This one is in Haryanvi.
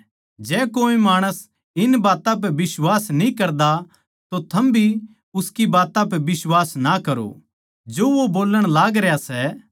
जै कोए माणस इन बात्तां पै बिश्वास न्ही करदा तो थम भी उसकी बात्तां पै बिश्वास ना करो जो वो बोल्लण लागरया सै